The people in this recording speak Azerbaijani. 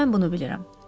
Mən bunu bilirəm.